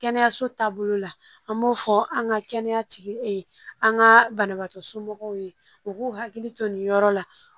Kɛnɛyaso taabolo la an b'o fɔ an ka kɛnɛya tigi an ka banabaatɔ somɔgɔw ye u k'u hakili to nin yɔrɔ la